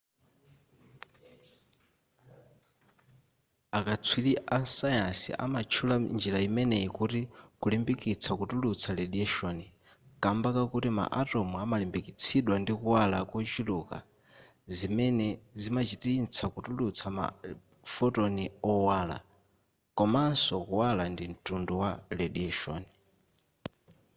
akatswiri asayansi amatchula njira imeneyi kuti kulimbikitsa kutulutsa radiation kamba kakuti ma atom amalimbikitsidwa ndi kuwala kochuluka zimene zimachititsa kutulutsa ma photon owala komanso kuwala ndi mtundu wa radiation